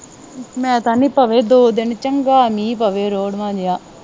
ਮੈਂ ਤਾਂ ਕਹਿੰਦੀ ਆ, ਦੋ ਦਿਨ ਚੰਗਾ ਮੀਂਹ ਪਵੇ, ਰੋੜਵਾ ਜਾ।